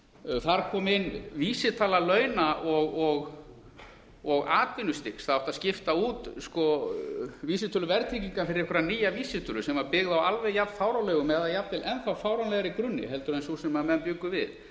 þar kom inn vísitala launa og atvinnustigs það átti að skipta út vísitölu verðtryggingar fyrir einhverja nýja vísitölu sem var byggð á alveg jafn fáránlegum eða jafnvel enn þá fáránlegri grunni en sú sem menn bjuggu við